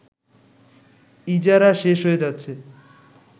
ইজারা শেষ হয়ে যাচ্ছে